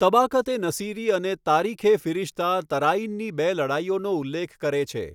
તબાકત એ નસીરી અને તારીખ એ ફિરિશ્તા તરાઈનની બે લડાઈઓનો ઉલ્લેખ કરે છે.